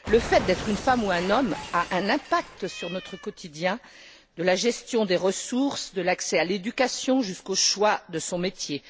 Le fait d'être une femme ou un homme a un impact sur notre quotidien, de la gestion des ressources, de l'accès à l'éducation jusqu'au choix de son métier.